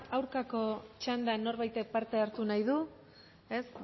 aurkako txandan norbaitek parte hartu nahi du ez